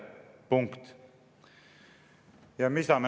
Punkt.